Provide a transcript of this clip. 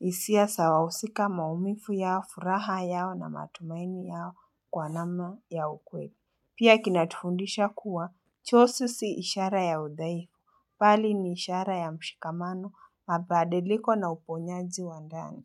isia sa wahusika maumifu yao, furaha yao na matumaini yao kwa namna ya ukweli. Pia kinatufundisha kuwa, chosi si ishara ya udhaifu, pali ni ishara ya mshikamano, mabadiliko na uponyaji wa ndani.